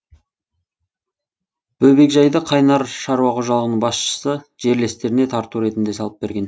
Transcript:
бөбекжайды қайнар шаруа қожалығының басшысы жерлестеріне тарту ретінде салып берген